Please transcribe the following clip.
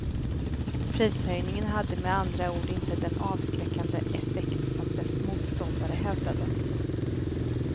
Prishöjningen hade med andra ord inte den avskräckande effekt som dess motståndare hävdade.